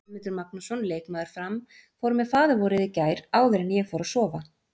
Guðmundur Magnússon, leikmaður Fram: Fór með faðirvorið í gær áður en ég fór að sofa.